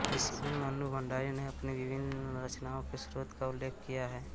इसमें मन्नू भंडारी ने अपनी विभिन्न रचनाओं के स्रोतों का उल्लेख किया है